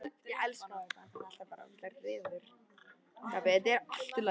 Mills segist enn stefna að sigri